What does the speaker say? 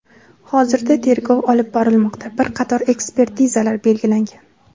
Hozirda tergov olib borilmoqda, bir qator ekspertizalar belgilangan.